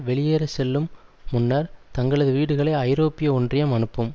வெளியேறச் செல்லும் முன்னர் தங்களது வீடுகளை ஐரோப்பிய ஒன்றியம் அனுப்பும்